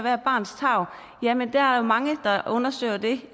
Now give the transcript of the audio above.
er barnets tarv jamen der er jo mange der undersøger det